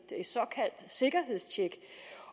et såkaldt sikkerhedstjek